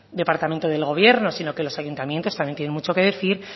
del departamento del gobierno sino que los ayuntamientos también tienen mucho que decir